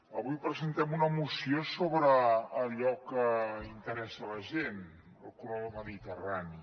avui presentem una moció sobre allò que interessa a la gent el corredor mediterrani